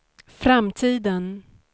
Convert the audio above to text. framtiden